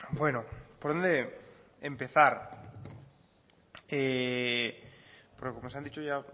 bueno por dónde empezar como nos han dicho ya